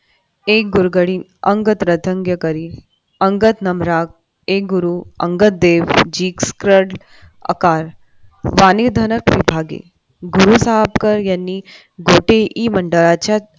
गुरु सहाबकर यांनी गोटे मंडळाच्या